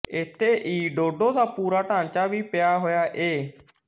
ਇੱਥੇ ਈ ਡੋਡੋ ਦਾ ਪੂਰਾ ਟਾਂਚਾ ਵੀ ਪਿਆ ਹੋਇਆ ਏ